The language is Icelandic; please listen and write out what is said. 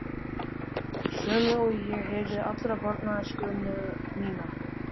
Sömu og ég heyrði alla barnæskuna mína.